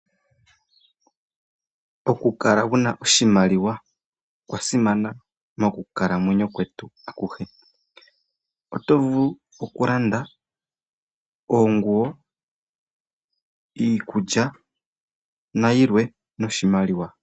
Okukala wuna oshimaliwa okwa simana mokukalamwenyo kwetu akuhe. Oto vulu okulanda oonguwo, iikulya nayilwe, noshimaliwa.